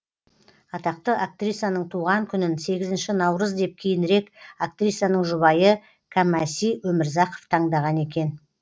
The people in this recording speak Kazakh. атақты актрисаның туған күнін сегізінші наурыз деп кейінірек актрисаның жұбайы кәмәси өмірзақов таңдаған екен